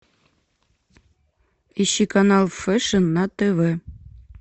ищи канал фэшн на тв